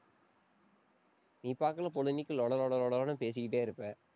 நீ பொழுதன்னைக்கும் லொட லொட லொடன்னு பேசிக்கிட்டே இருப்ப.